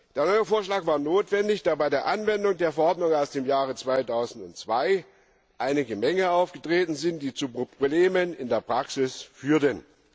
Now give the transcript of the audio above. Der neue Vorschlag war notwendig, da bei der Anwendung der Verordnung aus dem Jahre 2002 einige Mängel aufgetreten sind, die zu Problemen in der Praxis führten.